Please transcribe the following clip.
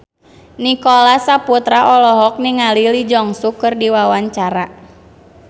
Nicholas Saputra olohok ningali Lee Jeong Suk keur diwawancara